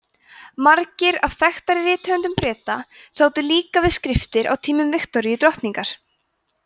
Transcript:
margir af þekktari rithöfundum breta sátu líka við skriftir á tímum viktoríu drottningar